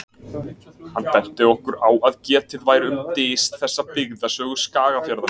Hann benti okkur á að getið væri um dys þessa í Byggðasögu Skagafjarðar.